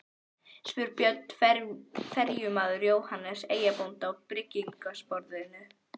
spyr Björn ferjumaður Jóhannes eyjabónda á bryggjusporðinum.